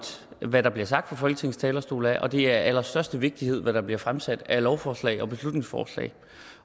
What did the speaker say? hvad der bliver sagt fra folketings talerstol og det er af allerstørste vigtighed hvad der bliver fremsat af lovforslag og beslutningsforslag